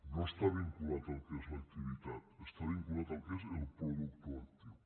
no està vinculada al que és l’activitat està vinculada al que és el productor actiu